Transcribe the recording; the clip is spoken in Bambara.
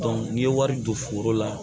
n'i ye wari don foro la